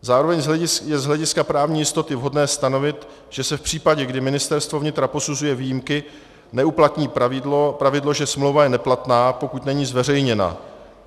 Zároveň je z hlediska právní jistoty vhodné stanovit, že se v případě, kdy Ministerstvo vnitra posuzuje výjimky, neuplatní pravidlo, že smlouva je neplatná, pokud není zveřejněna.